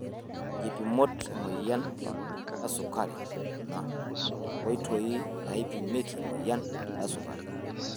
Nkipimot emoyian esukari, kuna nkoitoi naipimieki emoyian esukari.